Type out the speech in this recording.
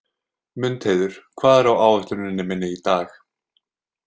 Mundheiður, hvað er á áætluninni minni í dag?